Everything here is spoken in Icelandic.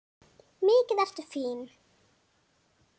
Mikið ertu fín!